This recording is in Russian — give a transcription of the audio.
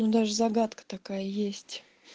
даже загадка такая есть